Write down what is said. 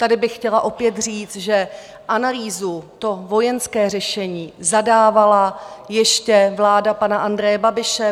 Tady bych chtěla opět říct, že analýzu, to vojenské řešení, zadávala ještě vláda pana Andreje Babiše.